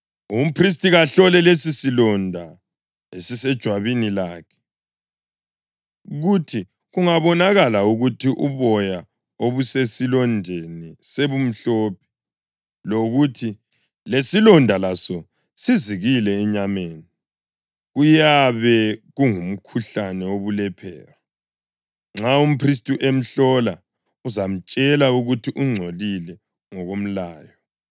Umphristi kahlole lesisilonda esisejwabini lakhe, kuthi kungabonakala ukuthi uboya obusesilondeni sebumhlophe, lokuthi lesilonda laso sizikile enyameni, kuyabe kungumkhuhlane wobulephero. Nxa umphristi emhlola, uzamtshela ukuthi ungcolile ngokomlayo.